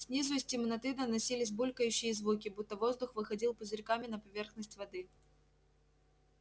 снизу из темноты доносились булькающие звуки будто воздух выходил пузырьками на поверхность воды